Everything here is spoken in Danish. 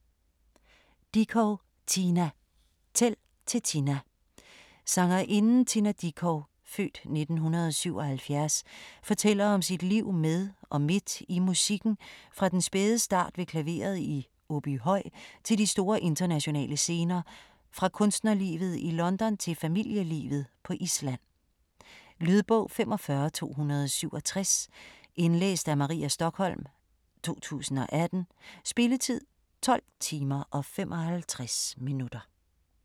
Dickow, Tina: Tæl til Tina Sangerinden Tina Dickow (f. 1977) fortæller om sit liv med og midt i musikken fra den spæde start ved klaveret i Åbyhøj til de store internationale scener, fra kunstnerlivet i London til familielivet på Island. Lydbog 45267 Indlæst af Maria Stokholm, 2018. Spilletid: 12 timer, 55 minutter.